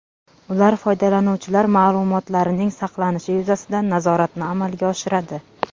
Ular foydalanuvchilar ma’lumotlarining saqlanishi yuzasidan nazoratni amalga oshiradi.